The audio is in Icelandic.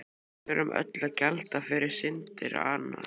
Við þurfum öll að gjalda fyrir syndir annarra.